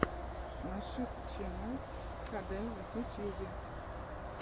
нашид ченнал хд в ютьюбе